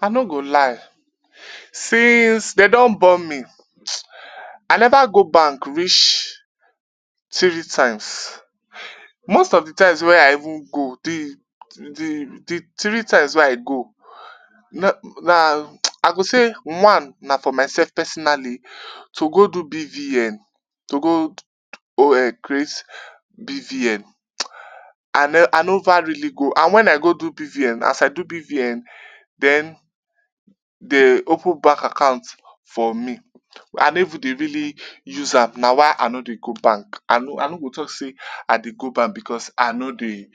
I no go lie since dem don born me I neva go bank rech tiree times. Most of di times wey I even go di di di tiree times wey I go na na I go sey one na for myself personally to go do BVN to go create BVN and I neva really go and wen I go do BVN, as I do BVN den de open bank account for me, I no even dey really use am na why I no dey go bank. I no I no go talk say I dey go bank because I no dey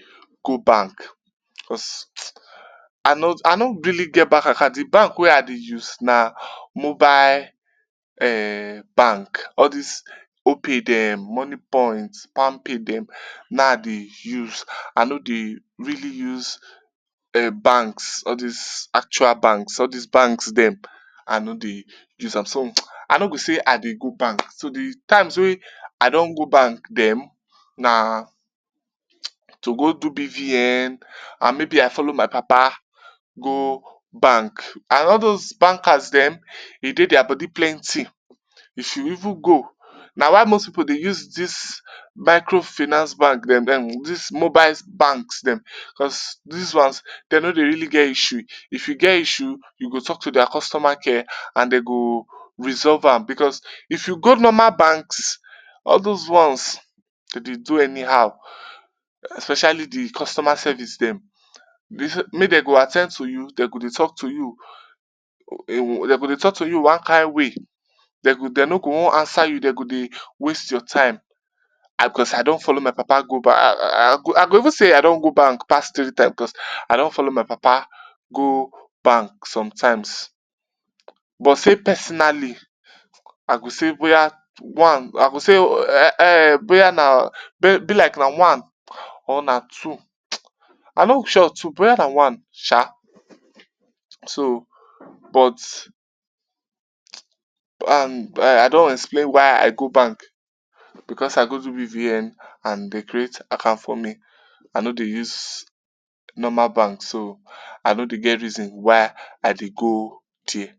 go because I no I no really get bank account di bank wey I dey use na mobile um bank all dis Opay dem, all dis monie point, plampay dem na him I dey use. I no dey really use um banks all dis actual banks, all dis banks dem I no dey use am so I no go say I dey go bank so di times wey I don go bank dem na to go do BVN and maybe I follow my papa go bank and all dose bankers[um]e dey dia body plenty, if you even go na why most pipu dey use dis microfinance bank dem um dis mobile banks dem because dis ones dem no dey really get issue, if you get issue you go talk to dia customer care and dem go resolve am because if you go normal banks all dose ones go dey do anyhow especially di customer service dem, make dem at ten d to you dem go dey talk to you um dem go dey talk to you one kain way, dem dem no go one answer you, dem go dey waste your time cause I don follow my papa go um I go even say I don go bank pass tiree times because I don follow my papa go bank sometimes but say personally I go say boya one I go sey um boy ana be like na one or na two, I no sure too boy ana one sha so but um I don explain why I go bank because I go do BVN and dey create account for me, I no dey use normal bank so I no get reason why I fit go dia